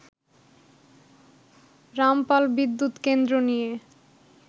রামপাল বিদ্যুৎ কেন্দ্র নিয়ে